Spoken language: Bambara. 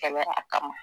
Kɛnɛya kama